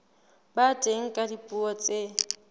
ba teng ka dipuo tse